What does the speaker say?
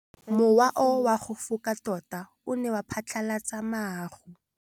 Mowa o wa go foka tota o ne wa phatlalatsa maru.